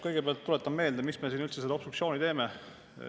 Kõigepealt tuletan meelde, miks me siin üldse seda obstruktsiooni teeme.